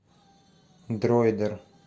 дроидер